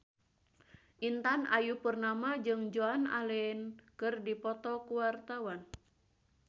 Intan Ayu Purnama jeung Joan Allen keur dipoto ku wartawan